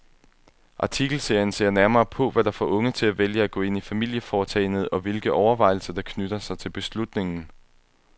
Artikelserien ser nærmere på, hvad der får unge til at vælge at gå ind i familieforetagendet, og hvilke overvejelser der knytter sig til beslutningen.